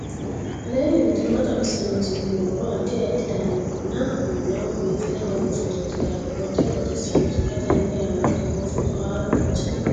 aleenni nooti maa xawisanno misileeti yinummoro addi addi dananna kuula woy biinfille amaddino footooti yaate qoltenno baxissannote xa tenne yannanni togoo footo haara danchate